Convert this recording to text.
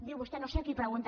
diu vostè no sé a qui pregunten